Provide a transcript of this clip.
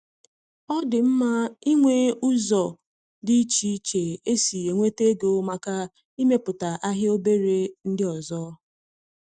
Ọ dị mma ịnwe ụzọ dị iche iche esi enweta ego màkà imetụta ahịa obere ndị ọzọ